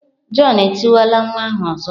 John etikwala nwa ahụ ọzọ!